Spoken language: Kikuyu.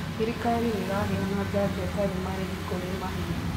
Thirikari nĩ iraheana njanjo ĩtarĩ marĩhi kũrĩ mahiũ.